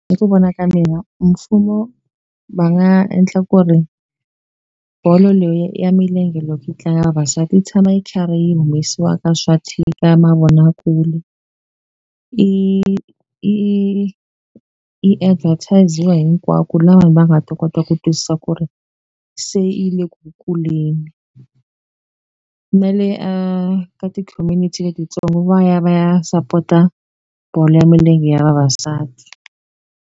Hi ku vona ka mina mfumo va nga endla ku ri bolo ya milenge loko yi tlanga vavasati yi tshama yi karhi yi humesiwa ka swa ka mavonakule i i i advertis-iwa hinkwako la vanhu va nga ta kota ku twisisa ku ri se yi le ku kuleni na le a ka ti-community letitsongo va ya va ya sapota bolo ya milenge ya vavasati.